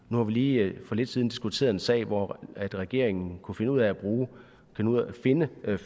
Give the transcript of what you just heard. nu har vi lige for lidt siden diskuteret en sag hvor regeringen kunne finde ud af at finde